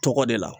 Tɔgɔ de la